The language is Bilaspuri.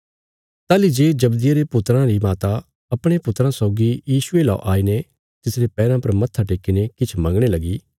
ताहली जे जब्दिये रे पुत्राँ री माता अपणे पुत्राँ सौगी यीशुये लौ आईने तिसरे पैराँ पर मत्था टेक्कीने किछ मंगणे लगी